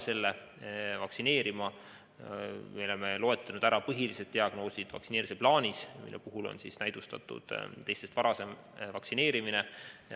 Me oleme vaktsineerimise plaanis loetlenud põhilised diagnoosid, mille puhul on näidustatud varasem vaktsineerimine.